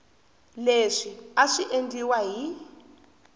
leswi a swi endliwa hi